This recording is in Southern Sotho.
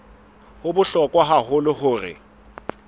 ho bohlokwa haholo hore o